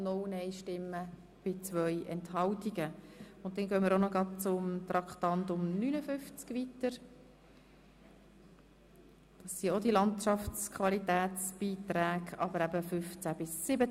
Da sich der Kommissionssprecher beim vo rangegangenen Geschäft gleich auch zu diesem Kredit geäussert hat und es zu beiden Geschäften keine weiteren Wortmeldungen gab, kommen wir auch hier gleich zur Abstimmung.